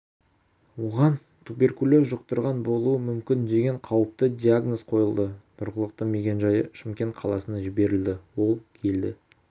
оған туберкулез жұқтырған болуы мүмкін деген қауіпті диагноз қойылды тұрғылықты мекенжайы шымкент қаласына жіберілді ол келді